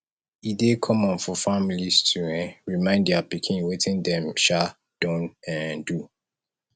e dey common for families to um remind dia pikin wetin dem um don um do